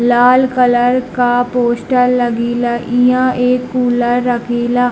लाल colour का poster लगीला इहां एक कूलर रखीला।